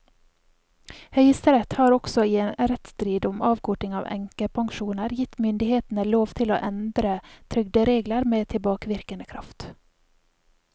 Høyesterett har også i en rettsstrid om avkorting av enkepensjoner gitt myndighetene lov til å endre trygderegler med tilbakevirkende kraft.